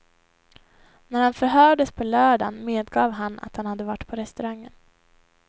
När han förhördes på lördagen medgav han att han hade varit på restaurangen.